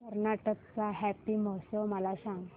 कर्नाटक चा हम्पी महोत्सव मला सांग